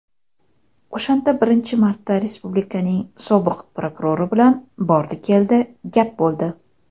O‘shanda birinchi marta respublikaning sobiq prokurori bilan "bordi-keldi" gap bo‘ldi.